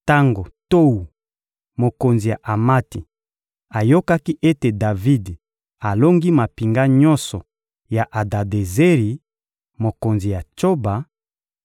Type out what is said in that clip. Tango Towu, mokonzi ya Amati, ayokaki ete Davidi alongi mampinga nyonso ya Adadezeri, mokonzi ya Tsoba,